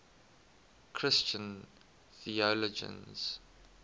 christian theologians